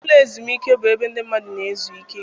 Ụlọ ezumiike bụ ebe ndị mmadụ na-ezu ike.